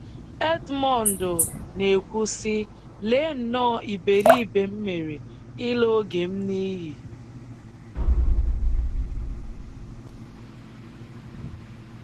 Edmundo na-ekwu sị: “Lee nnọọ iberibe m mere ịla oge m n’iyi.”